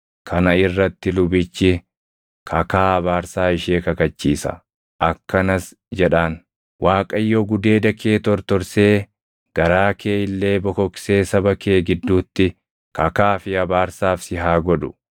kana irratti lubichi kakaa abaarsaa ishee kakachiisa; akkanas jedhaan; “ Waaqayyo gudeeda kee tortorsee garaa kee illee bokoksee saba kee gidduutti kakaa fi abaarsaaf si haa godhu.